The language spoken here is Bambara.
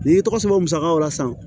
N'i y'i tɔgɔ sɛbɛn musakaw la sisan